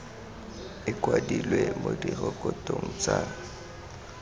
e kwadilwe mo direkotong tsa